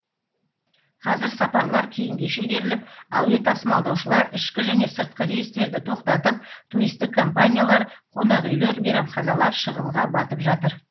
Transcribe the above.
қазір сапарлар кейінге шегеріліп әуе тасымалдаушылар ішкі және сыртқы рейстерді тоқтатып туристік компаниялар қонақүйлер мейрамханалар шығынға батып жатыр